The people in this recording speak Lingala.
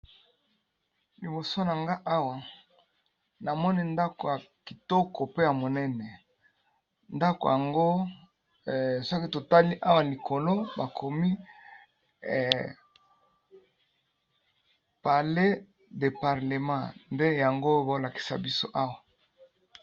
Liboso na nga awa namoni ndako ya kitoko pe ya munene likolo na yango bakomi palais du parlement.